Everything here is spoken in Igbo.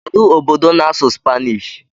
Kedu obodo na-asụ Spanish?